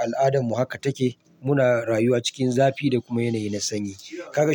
al'adan mu haka take. Muna rayuwa cikin zafi da kuma yanayi na sanyi. Kaka shiru.